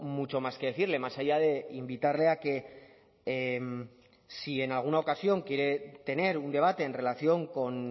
mucho más que decirle más allá de invitarle a que si en alguna ocasión quiere tener un debate en relación con